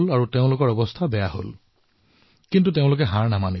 স্বাভাৱিকতে তেওঁলোকৰ উপাৰ্জন বন্ধ হল কিন্তু তেওঁলোক নিৰাশ নহল